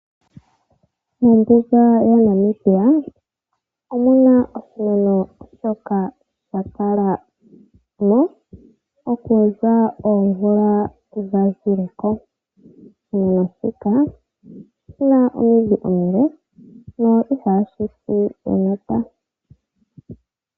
Mombuga yaNamibia, omuna oshimeno shoka shakala mo, okuza oomvula dhi dhazileko. Oshimeno shika oshina omidhi omile na ihashi si enota.